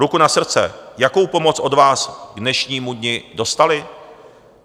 Ruku na srdce, jakou pomoc od vás k dnešnímu dni dostali?